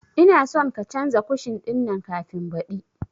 Ina son ka canza kushin ɗin nan kafin baɗi